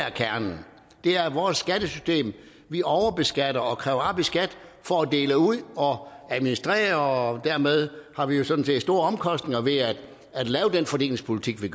er kernen det er vores skattesystem vi overbeskatter og kræver op i skat for at dele ud og administrere og dermed har vi jo sådan set store omkostninger ved at lave den fordelingspolitik vi